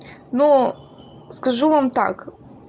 ну скажу вам так